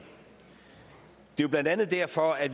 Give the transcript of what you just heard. det er blandt andet derfor at